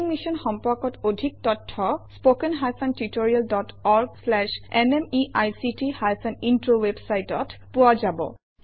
ই mission সম্পৰ্কত অধিক তথ্য spoken hyphen tutorial dot org slash এনএমইআইচিত হাইফেন ইন্ট্ৰ ৱেবচাইটত পোৱা যাব